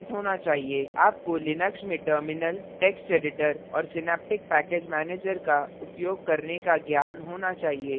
आपको लिनक्स में terminal terminal text editor text editor और synaptic package manager का उपयोग करने का ज्ञान होना चाहिए